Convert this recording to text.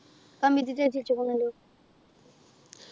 കമ്പിത്തിരി കത്തിച്ചുക്കുന്നല്ലോ